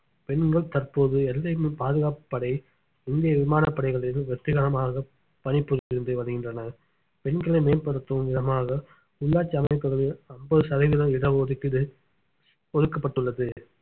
பெண்கள் தற்போது எல்லையில் பாதுகாப்பு படை இந்திய விமானப்படைகளில் வெற்றிகரமாக பணிபுரிந்து வருகின்றனர் பெண்களை மேம்படுத்தும் விதமாக உள்ளாட்சி அமைப்புகளில் ஐம்பது சதவீத இட ஒதுக்கீடு ஒதுக்கப்பட்டுள்ளது